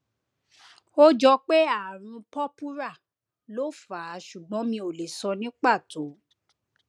ó jọ pé ààrùn purpura ló fà á ṣùgbón mi ò lè sọ ní pàtó